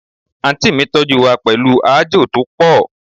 Aunty mi toju wa pelu aajo to po